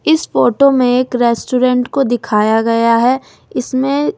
इस फोटो में एक रेस्टोरेंट को दिखाया गया है इसमें--